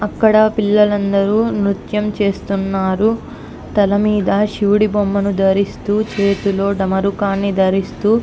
అక్కడా పిల్లలు అందరూ నృత్యం చేస్తున్నారు. తల మీద శివుడి బొమ్మను ధరిస్తూ చేతిలో ఢమరుకం ధరిస్తూ --